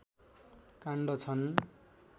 काण्ड छन्